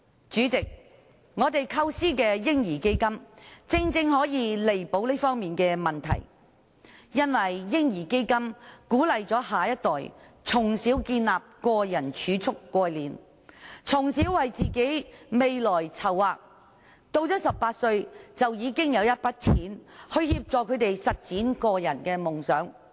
主席，我們構思的"嬰兒基金"，正正可以彌補這方面的問題，因為"嬰兒基金"鼓勵下一代從小建立個人儲蓄概念，從小為自己的未來籌劃，到了18歲已經有一筆錢來協助他們實踐夢想。